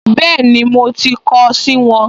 Bẹ́ẹ̀ni, mo ti kọ ọ́ sì wọn